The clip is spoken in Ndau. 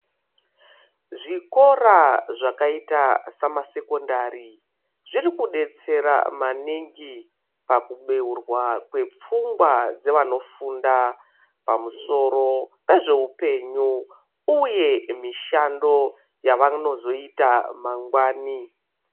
Zvikora zvakaita samasekondari zvirikudetsera maningi pakubeurwa kwepfungwa dzevanofunda pamusoro pezveupenyu uye mishando yavanonozoita mangwani.